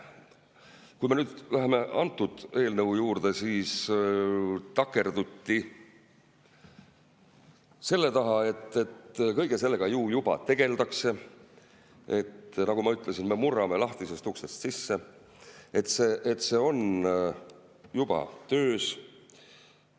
Kui me nüüd läheme antud eelnõu juurde, siis takerduti selle taha, et kõige sellega juba tegeldakse, et, nagu ma ütlesin, me murrame lahtisest uksest sisse, et see on juba töös.